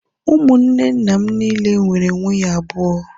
Ụmụnne nna m niile nwere nwunye abụọ